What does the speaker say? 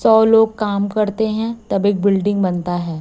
सौ लोग काम करते हैं तब एक बिल्डिंग बनता है।